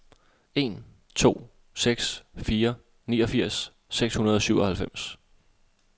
en to seks fire niogfirs seks hundrede og syvoghalvfems